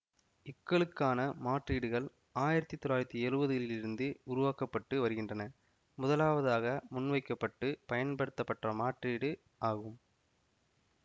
க்களுக்கான மாற்றீடுகள் ஆயிரத்தி தொள்ளாயிரத்தி எழுவதுகளிலிருந்து உருவாக்க பட்டு வருகின்றன முதலாவதாக முன்வைக்க பட்டு பயன்படுத்தப்பட்ட மாற்றீடு ஆகும்